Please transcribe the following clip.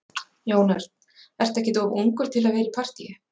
Jón Örn: Ertu ekkert of ungur til að vera í partýi?